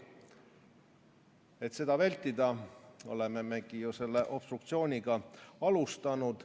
Et seda vältida, olemegi ju obstruktsiooniga alustanud.